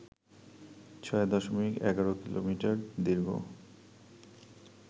৬ দশমিক ১৫ কিলোমিটার দীর্ঘ